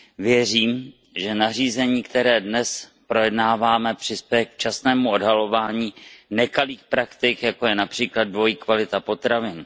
Věřím, že nařízení, které dnes projednáváme, přispěje k včasnému odhalování nekalých praktik, jako je například dvojí kvalita potravin.